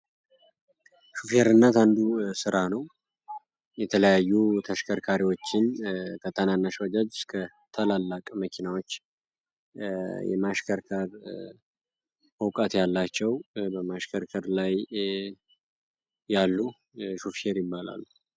ሹፌርነት አንዱ ስራ ነው። የተለያዩ ተሽከርካሪዎችን ከትናንሽ ባጃጅ እስከ ትላልቅ መኪናዎች የማሽከርከር እውቀት ያላቸው በማሽከርከር ላይ ያሉ ሹፌር ይባላል።